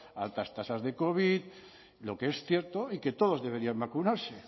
altas tasas de covid lo que es cierto y que todos deberían vacunarse